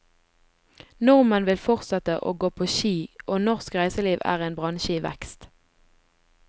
Nordmenn vil fortsette å gå på ski og norsk reiseliv er en bransje i vekst.